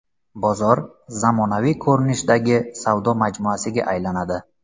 Bozor zamonaviy ko‘rinishdagi savdo majmuasiga aylanadi .